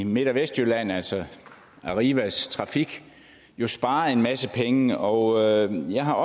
midt og vestjylland altså arrivas trafik har sparet en masse penge og jeg har